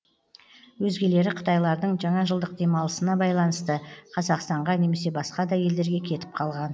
өзгелері қытайлардың жаңа жылдық демалысына байланысты қазақстанға немесе басқа да елдерге кетіп қалған